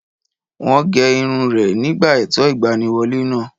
Wọ́n gé irun rẹ̀ nígbà ètò ìgbaniwọlé náà